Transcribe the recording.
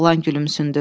Oğlan gülümsündü.